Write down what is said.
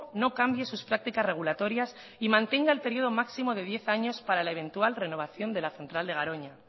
no cambie sus prácticas regulatorias y mantenga el periodo máximo de diez años para la eventual renovación de la central de garoña